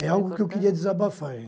É algo que eu queria desabafar,